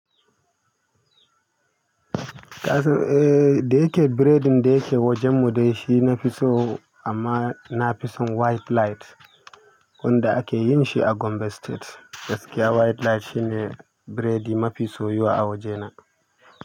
Eh, da yake biredin da yake wajen mu dai shi na fi so amma na fi son white light wanda ake yin shi a Gombe State. Gaskiya white light shi ne bredi mafi soyu a wajena.